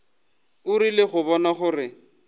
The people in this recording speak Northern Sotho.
o rile go bona gore